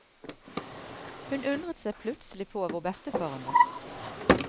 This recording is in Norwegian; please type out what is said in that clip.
Hun undret seg plutselig på hvor bestefaren var.